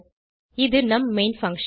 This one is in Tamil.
இது நம் மெயின் பங்ஷன்